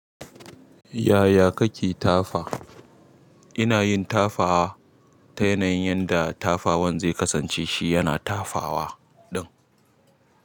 Yaya kake tafa? Ina yin tafawa ta yanayin yanda tafawan zai kasance shi yana tafawa ɗin.